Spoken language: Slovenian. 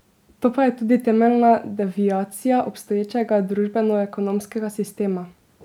To pa je tudi temeljna deviacija obstoječega družbenoekonomskega sistema.